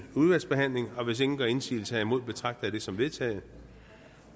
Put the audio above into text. udvalgsbehandling hvis ingen gør indsigelse herimod betragter jeg det som vedtaget